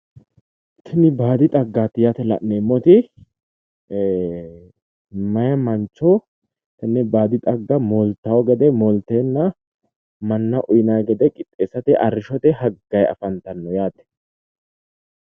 Tini baadi xaggaati yaate la'neemmoti meeyaa mancho tenne baadi xagga mooltawo gede moolteenna mannaho utinayi gede qixxeessate arrishshite haggayi afantawo yaate.